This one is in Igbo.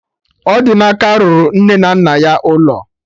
Odinaka rụrụ nne na nna ya ụlọ